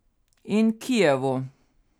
In Kijevu.